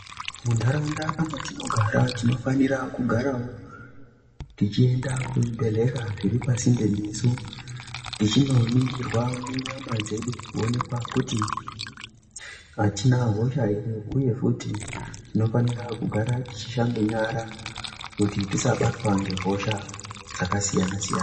Mundaraunda matinogara tinofanira kugarawo tichienda kuzvibhedhlera zviri pasinde nesu tichindonibgirwa munyama dzedu kuonekwa kuti atina hosha here uye futi tinofanira kugara tichishamba nyara kuti tisabatwa nehosha dzakasiyana siyana.